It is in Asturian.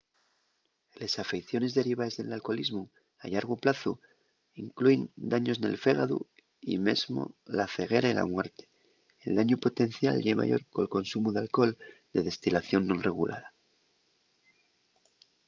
les afeiciones derivaes del alcoholismu a llargu plazu inclúin daños nel fégadu y mesmo la ceguera y la muerte el dañu potencial ye mayor col consumu d'alcohol de destilación non regulada